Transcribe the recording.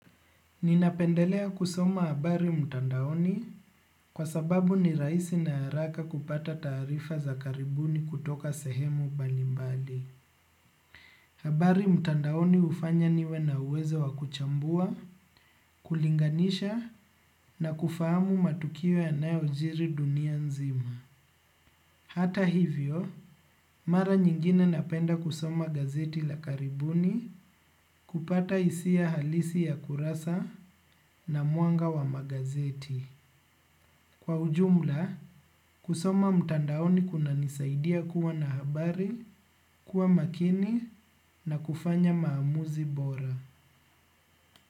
Ninapendelea kusoma habari mtandaoni kwa sababu ni rahisi na haraka kupata taarifa za karibuni kutoka sehemu mbali mbali. Habari mtandaoni ufanya niwe na uwezo wa kuchambua, kulinganisha na kufahamu matukio yanayojiri dunia nzima. Hata hivyo, mara nyingine napenda kusoma gazeti la karibuni kupata hisia halisi ya kurasa na mwanga wa magazeti. Kwa ujumla, kusoma mtandaoni kunanisaidia kuwa na habari, kuwa makini na kufanya maamuzi bora.